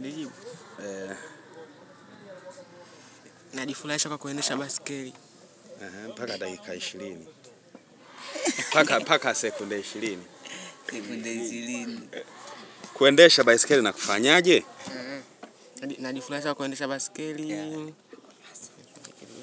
Ndio, najifurahishakwa kuendesha baiskeli mpaka dakika 20. Mpaka sekunde 20. Sekunde 20. Kuendesha baiskeli na kufanyaje? Najifurahisha kuendesha baiskeli